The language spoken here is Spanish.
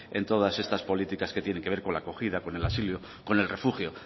en todas estas políticas que tienen que ver con la acogida con el asilo con el refugio